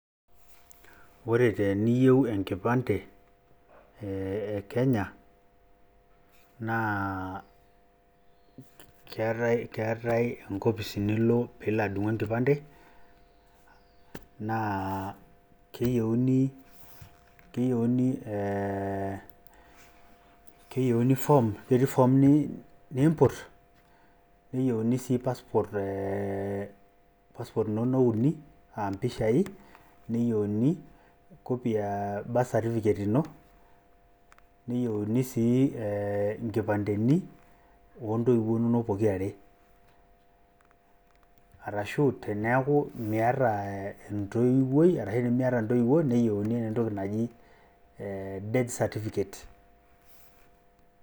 ore teniyieu enkipande ekenya na ketae enkofis nilo pilo adumu enkipande na keyieuni ee form keti form nimput niyieuni si pasport ee inono uni, aah pishai neyiuni copy e birthcerticate ino, neyieuni si inkipandeni ontowuo inono pokirare, arashu teniaku miata entoiwuoi ashu intoiwuo neyieuni entoki naji death certificate,